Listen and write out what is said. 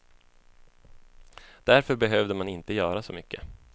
Därför behövde man inte göra så mycket.